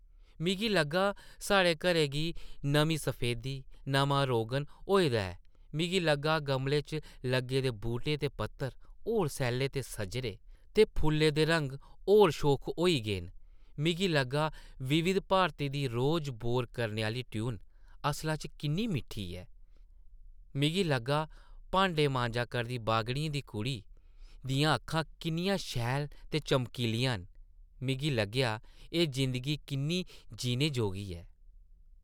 मिगी लग्गा साढ़े घरै गी नमीं सफेदी, नमां रोगन होए दा ऐ ; मिगी लग्गा गमलें च लग्गे दे बूह्टें दे पत्तर होर सैल्ले ते सजरे, ते फुल्लें दे रंग होर शोख होई गे न; मिगी लग्गा विविध भारती दी रोज बोर करने आह्ली ट्यून असला च किन्नी मिट्ठी ऐ; मिगी लग्गा भांडे मांजा करदी बाघड़ियें दी कुड़ी दियां अक्खां किन्नियां शैल ते चमकीलियां न; मिगी लग्गेआ एह् जिंदगी किन्नी जीने जोगी ऐ ।